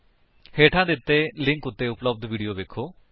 ਹੇਠਾਂ ਦਿੱਤੇ ਲਿੰਕ ਉੱਤੇ ਉਪਲੱਬਧ ਵੀਡੀਓ ਵੇਖੋ